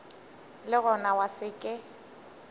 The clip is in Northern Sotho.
le gona ya se ke